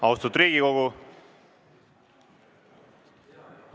Austatud Riigikogu!